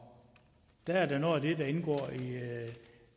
der er det noget af det der indgår